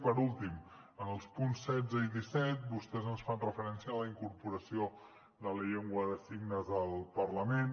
i per últim en els punts setze i disset vostès ens fan referència a la incorporació de la llengua de signes al parlament